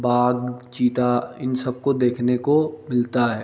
बाघ चीता इन सबको देखने को मिलता है।